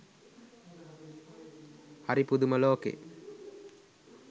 හරි පුදුම ලෝකේ